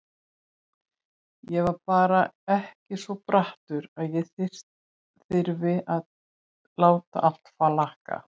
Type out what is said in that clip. Ég var bara ekki svo brattur að ég þyrði að láta allt flakka.